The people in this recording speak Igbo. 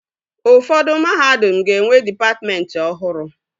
Ụfọdụ mahadum ga-enwe dịpatmentị ọhụrụ